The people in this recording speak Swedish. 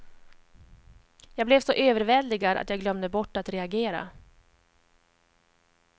Jag blev så överväldigad att jag glömde bort att reagera.